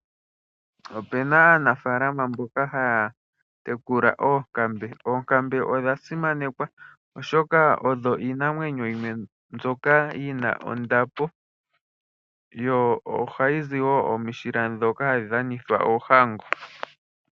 Opu na aanafaalama mboka haya tekula oonkambe. Oonkambe odha simanekwa, oshoka odho iinamwenyo yimwe mbyoka yi na ondapo nohadhi zi wo omishila ndhoka hadhi dhanithwa oohango.